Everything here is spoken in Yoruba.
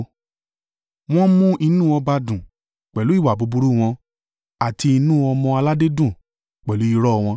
“Wọ́n ń mú inú ọba dùn pẹ̀lú ìwà búburú wọn, àti inú ọmọ-aládé dùn pẹ̀lú irọ́ wọn.